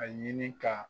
A ɲini ka